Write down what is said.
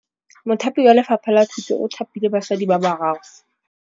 Mothapi wa Lefapha la Thutô o thapile basadi ba ba raro.